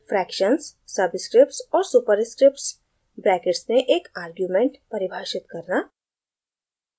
fractions subscripts और superscripts brackets में एक आर्ग्युमेंट परिभाषित करना